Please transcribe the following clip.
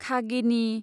खागिनि